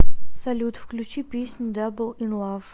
салют включи песню дабл ин лав